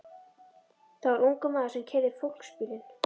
Það var ungur maður sem keyrði fólksbílinn.